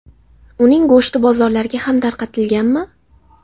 Uning go‘shti bozorlarga ham tarqatilganmi?